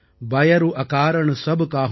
பயரூ அகாரண் சப் காஹூ சோ